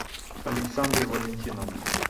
александры валентиновны